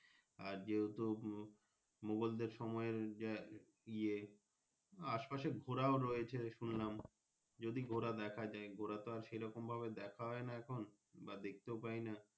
আর যেহেতু মোগলদের সময় এ যে ইয়ে আসে পাশে ঘুরাও রয়েছে শুনলাম যদি ঘোড়া দেখা যাই ঘোড়া তো আর সেই রকম ভাবে দেখা হয়না এখন বা দেখতেও পাই না।